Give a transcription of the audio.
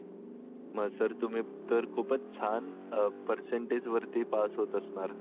मग सर तुम्ही खूपच छान पर्सेंटेजवर पास होत असणार